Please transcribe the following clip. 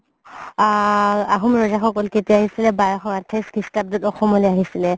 আ আহুম কেতিয়া আহিছিলে বাৰশ আঠাইশ অসমলে আহিছিলে